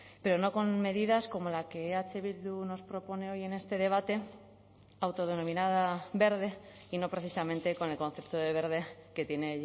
pero no con medidas como la que eh bildu nos propone hoy en este debate autodenominada verde y no precisamente con el concepto de verde que tiene